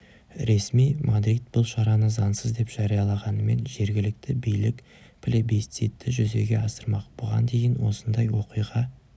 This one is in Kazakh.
ресми мадрид бұл шараны заңсыз деп жариялағанымен жергілікті билік пле-бисцитті жүзеге асырмақ бұған дейін осындай оқиға